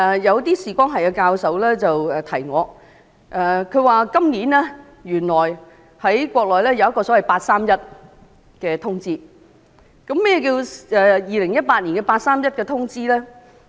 有視光學教授提醒我，原來今年在內地提出一項"八三一"通知，何謂2018年的"八三一"通知呢？